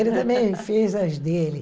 Ele também fez as dele.